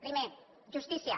primer justícia